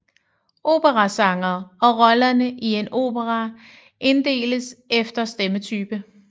Operasangere og rollerne i en opera inddeles efter stemmetype